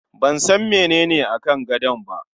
Ban san menene akan gadon ba.